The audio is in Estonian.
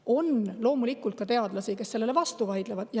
On loomulikult ka teadlasi, kes sellele vastu vaidlevad.